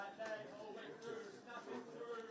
Məsəl üçün, nə bilim, əsas, əsas.